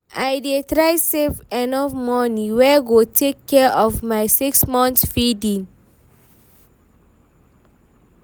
I dey try save enough money wey go take care of my 6 months feeding